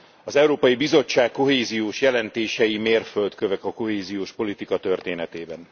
Az Európai Bizottság kohéziós jelentései mérföldkövek a kohéziós politika történetében.